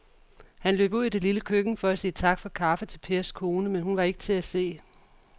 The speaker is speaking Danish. Han løb ud i det lille køkken for at sige tak for kaffe til Pers kone, men hun var ikke til at se.